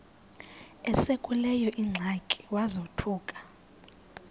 esekuleyo ingxaki wazothuka